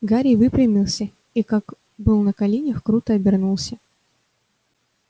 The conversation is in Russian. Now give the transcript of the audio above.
гарри выпрямился и как был на коленях круто обернулся